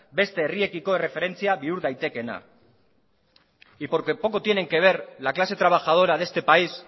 beste herriekiko erreferentzia bihur daitekeena y porque poco tienen que ver la clase trabajadora de este país